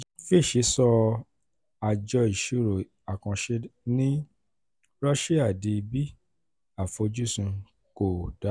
fitch sọ àjọ ìṣirò àkànṣe ní rọ́ṣíà di 'b'; àfojúsùn kò dára